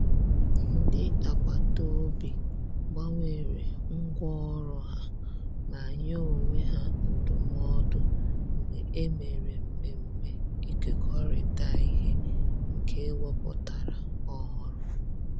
Ndị agbataobi gbanwere ngwa ọrụ ha ma nye onwe ha ndụmọdụ mgbe e mere mmemme ikekorita ihe nke e wepụtara ọhụrụ